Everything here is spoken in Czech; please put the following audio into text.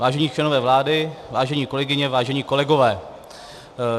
Vážení členové vlády, vážené kolegyně, vážení kolegové.